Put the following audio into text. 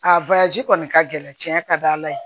A kɔni ka gɛlɛn cɛn ka d'a la yen